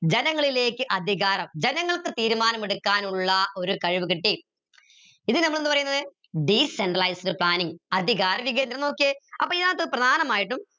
ജനങ്ങളിലേക്ക് അധികാരം ജനങ്ങൾക്ക് തീരുമാനമെടുക്കാനുള്ള ഒരു കഴിവ് കിട്ടി ഇത് നമ്മൾ എന്ത് പറയുന്നത് decentralized planning അധികാര വികേന്ദ്രീകരണം നോക്കിയ അപ്പൊ ഇതിനത്ത് പ്രധാനമായിട്ടും